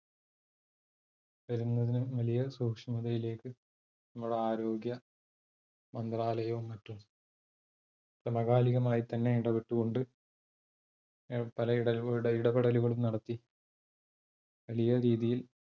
വലിയ സൂക്ഷ്മതയിലേക്ക് നമ്മുടെ ആരോഗ്യ മന്ത്രാലയവും മറ്റും, സമകാലികമായി തന്നെ ഇടപ്പെട്ട് കൊണ്ട് പല ഇടപെടലുകളും നടത്തി വലിയ രീതിയിൽ,